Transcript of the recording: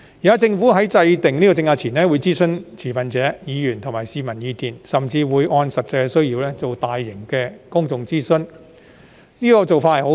現時，政府在制訂政策前會諮詢持份者、議員及市民的意見，甚至會按實際需要，進行大型公眾諮詢，這個做法很好。